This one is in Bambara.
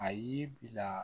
A ye bila